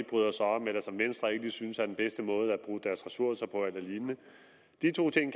bryder sig om eller som venstre ikke synes er den bedste måde at bruge deres ressourcer på eller lignende de to ting